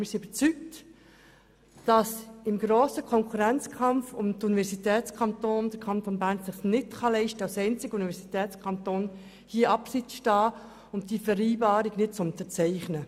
Wir sind überzeugt, dass im es sich der Kanton Bern im grossen Konkurrenzkampf der Universitätskantone nicht leisten kann, als einziger Universitätskanton hier abseits zu stehen und die Vereinbarung nicht zu unterzeichnen.